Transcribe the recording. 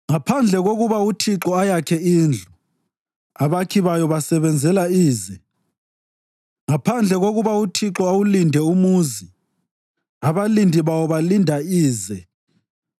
Ngaphandle kokuba uThixo ayakhe indlu, abakhi bayo basebenzela ize. Ngaphandle kokuba uThixo awulinde umuzi, abalindi bawo balinda ize.